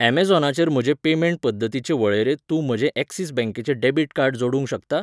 अमॅझॉनाचेर म्हजे पेमेंट पद्दतींचे वळेरेंत तूं म्हजें ऍक्सिस बॅंकेचें डॅबिट कार्ड जोडूंक शकता?